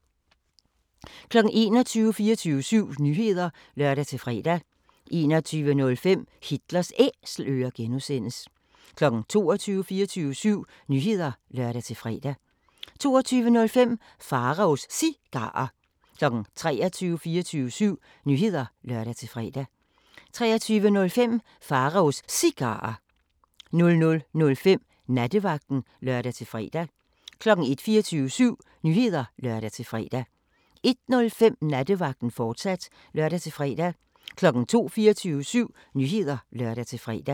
21:00: 24syv Nyheder (lør-fre) 21:05: Hitlers Æselører (G) 22:00: 24syv Nyheder (lør-fre) 22:05: Pharaos Cigarer 23:00: 24syv Nyheder (lør-fre) 23:05: Pharaos Cigarer 00:05: Nattevagten (lør-fre) 01:00: 24syv Nyheder (lør-fre) 01:05: Nattevagten, fortsat (lør-fre) 02:00: 24syv Nyheder (lør-fre)